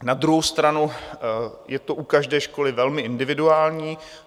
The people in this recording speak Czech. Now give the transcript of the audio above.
Na druhou stranu je to u každé školy velmi individuální.